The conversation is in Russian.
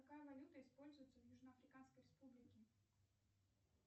какая валюта используется в южно африканской республике